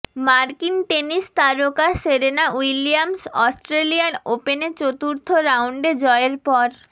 মার্কিন টেনিস তারকা সেরেনা উইলিয়ামস অস্ট্রেলিয়ান ওপেনে চতুর্থ রাউন্ডে জয়ের পর